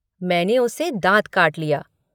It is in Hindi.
मैंने उसे दाँत काट लिया।